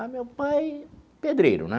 Ah, meu pai, pedreiro, né?